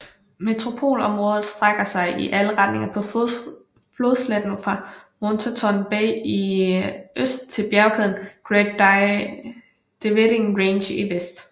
Metropolområdet strækker sig i alle retninger på flodsletten fra Moreton Bay i øst til bjergkæden Great Dividing Range i vest